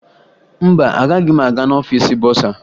Mba, agaghị m aga n'ọfiisi bọsaa